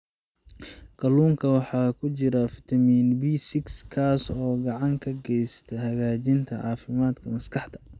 Kalluunka waxaa ku jira fitamiin B6 kaas oo gacan ka geysta hagaajinta caafimaadka maskaxda.